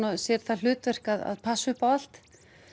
sér það hlutverk að passa upp á allt